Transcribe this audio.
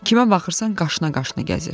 Kimə baxırsan qaşına-qaşına gəzir.